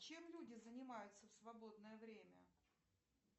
чем люди занимаются в свободное время